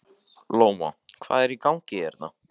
Lóa: Hvað er í gangi hérna?